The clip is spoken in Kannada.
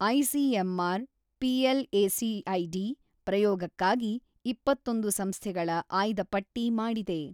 ಐಸಿಎಂಆರ್ ಪಿಎಲ್ಎಸಿಐಡಿ ಪ್ರಯೋಗಕ್ಕಾಗಿ ಇಪ್ಪತ್ತೊಂದು ಸಂಸ್ಥೆಗಳ ಆಯ್ದಪಟ್ಟಿ ಮಾಡಿದೆ.